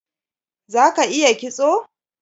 Za ka iya kitso?